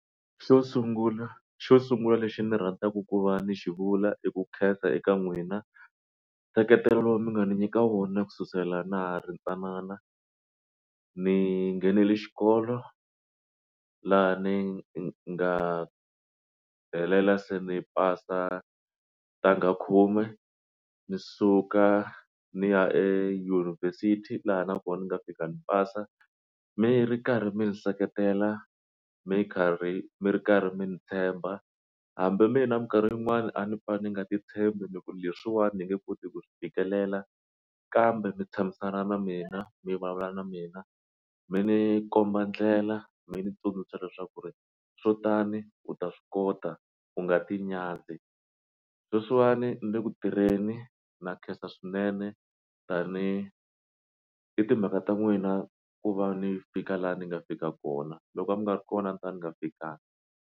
Xo sungula xo sungula lexi ni rhandzaka ku va ni xivula i ku khensa eka n'wina nseketelo lowu mi nga n'wi nyika wona ku sukisela na ri ntsanana ni nghenele xikolo laha ni nga helela se ni pasa ntanga khume ni suka ni ya eYunivhesiti laha na kona ni nga fika ni pasa mi ri karhi mi ni seketela mi karhi mi ri karhi mi ni tshemba hambi mina minkarhi yin'wani a ni pfa ni nga ti tshembi ni ku leswiwani ni nge koti ku fikelela kambe mi tshamisana na mina mi vulavula na mina mi ni komba ndlela mi ni tsundzuxa leswaku ri swo tani u ta swi kota u nga ti nyadzi sweswiwani ni le ku tirheni na khensa swinene tani i timhaka ta n'wina ku va ni fika laha ni nga fika kona loko a mi nga ri kona ni ta ni nga fikanga.